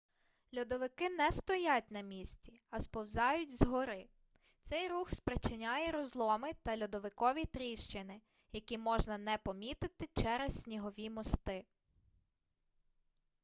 льодовики не стоять на місці а сповзають з гори цей рух спричиняє розломи та льодовикові тріщини які можна не помітити через снігові мости